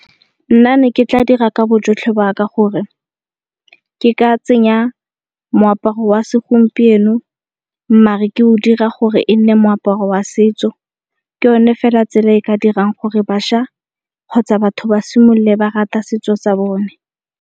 Nna ne ke tla dira ka bojotlhe ba ka gore ke ka tsenya moaparo wa segompieno maar ke o dira gore e nne moaparo wa setso. Ke yone fela tsela e ka dirang gore bašwa kgotsa batho ba simolole ba rata setso sa bone.